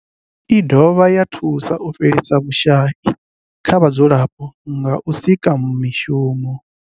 I dovha ya thusa u fhelisa vhushayi kha vhadzulapo nga u sika mishumo.